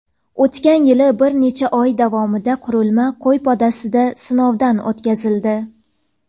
O‘tgan yili bir necha oy davomida qurilma qo‘y podasida sinovdan o‘tkazildi.